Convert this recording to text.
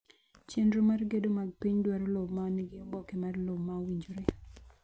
Chenro mag gedo mag piny dwaro lowo ma nigi oboke mar lowo ma owinjore.